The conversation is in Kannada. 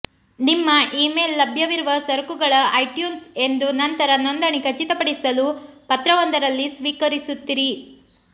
ನಿಮ್ಮ ಈಮೇಲ್ ಲಭ್ಯವಿರುವ ಸರಕುಗಳ ಐಟ್ಯೂನ್ಸ್ ಎಂದು ನಂತರ ನೋಂದಣಿ ಖಚಿತಪಡಿಸಲು ಪತ್ರವೊಂದರಲ್ಲಿ ಸ್ವೀಕರಿಸುತ್ತೀರಿ